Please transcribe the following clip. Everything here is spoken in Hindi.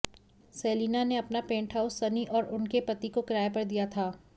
सेलिना ने अपना पेंटहाउस सनी और उनके पति को किराए पर दिया था